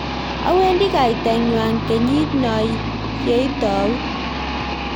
awendi kaitangwany kenyit no ye itau